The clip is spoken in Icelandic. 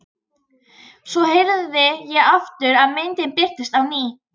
Svo herði ég aftur og myndin birtist á ný.